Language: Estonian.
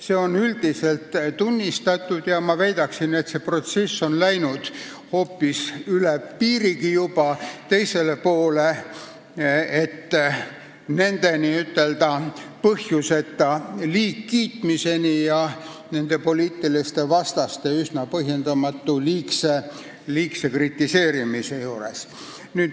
Seda üldiselt tunnistatakse ja ma väidan, et see protsess on läinud juba üle piiri teisele poole, nende põhjuseta üleliia kiitmiseni ja nende poliitiliste vastaste üsna põhjendamatu liigse kritiseerimiseni.